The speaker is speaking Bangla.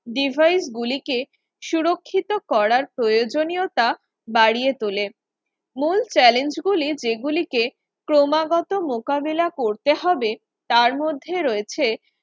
Devise গুলিকে সুরক্ষিত করার প্রয়োজনীয়তা বাড়িয়ে তোলে মূল challenge গুলি যেগুলিকে ক্রমাগত মোকাবিলা করতে হবে তার মধ্যে রয়েছে